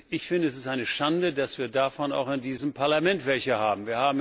Ich finde, es ist eine Schande, dass wir davon auch in diesem Parlament welche haben.